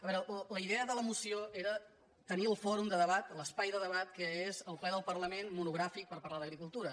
a veure la idea de la mo·ció era tenir el fòrum de debat l’espai de debat que és el ple del parlament monogràfic per parlar d’agricul·tura